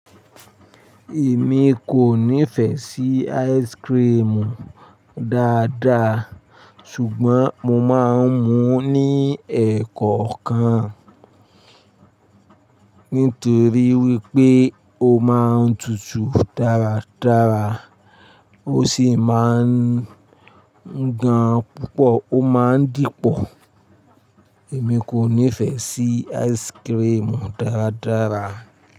Èmi kò nífẹ̀ẹ́ sí ice cream dáadáa ṣùgbọ́n mo máa ń mu ní ẹ́ẹ̀kọ̀kan nítorí wípé ó máa ń tutù dáradára ó sì máa ń gan púpọ̀ ó máa ń dípọ̀. Èmi kò nífẹ̀ẹ́ sí ice cream dáradára.